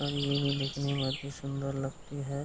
और ये भी देखने में अति सुंदर लगती है --